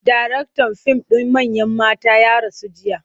Daraktan fim ɗin Manyan Mata ya rasu jiya.